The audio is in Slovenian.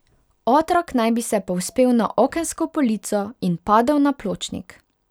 Otrok naj bi se povzpel na okensko polico in padel na pločnik.